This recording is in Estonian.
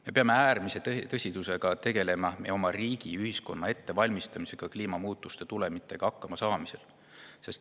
Me peame äärmise tõsidusega tegelema meie oma riigi, ühiskonna ettevalmistamisega kliimamuutuse tulemitega hakkamasaamiseks.